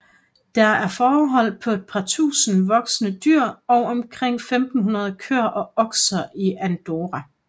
Der er fårehold på et par tusinde voksne dyr og omkring 1500 køer og okser i Andorra